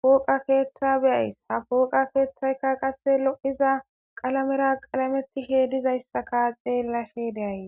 pooqa keeththa beyays ha pooqa keeththayka qasse lo7iza qalamera qalamettishe dizayssaka xeellashe deyay